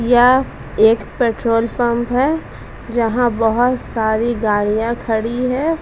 य एक petrol pump है। जहां बोहोत सारी गाड़ियां खड़ी हैं।